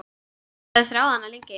Ég hafði þráð hana lengi.